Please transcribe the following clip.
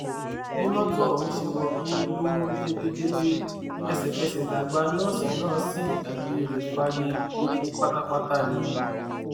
bí mọtò ọhún ṣe wọgbó ló rún jẹgẹjẹgẹ ẹsẹkẹsẹ lágbà nọọsì náà sì dágbére fáyé ó kú pátápátá ni